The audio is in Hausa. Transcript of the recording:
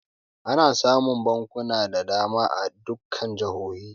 Ana samun bankuna da dama a dukkan jihohi.